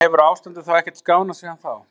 En hefur ástandið þá ekkert skánað síðan þá?